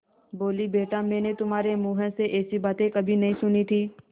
बोलीबेटा मैंने तुम्हारे मुँह से ऐसी बातें कभी नहीं सुनी थीं